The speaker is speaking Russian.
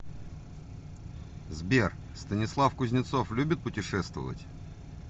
сбер станислав кузнецов любит путешествовать